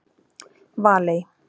Valey